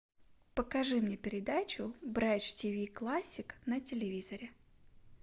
покажи мне передачу бридж тиви классик на телевизоре